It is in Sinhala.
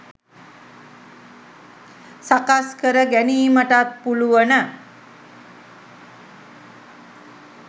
සකස් කර ගැනීමටත් පුළුවන.